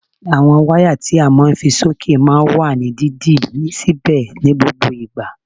Àwọn wáyà tí a máa ń fi sí òkè máa ń wà ní dídì síbẹ̀ ní gbogbo ìgbà